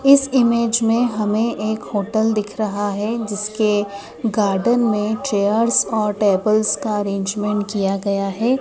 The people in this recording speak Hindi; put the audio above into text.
इस इमेज में हमें एक होटल दिख रहा है जिसके गार्डन मे चेयर्स और टेबल्स का अरेंजमेंट किया गया है।